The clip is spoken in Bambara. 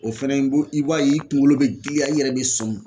O fɛnɛ i b'o i b'a ye i kunkolo bɛ girinya i yɛrɛ bɛ sɔmi